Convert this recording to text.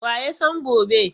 Wa ya san gobe?